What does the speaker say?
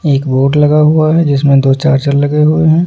एक बोर्ड लगा हुआ है जिसमें दो चार्जर लगे हुए हैं ।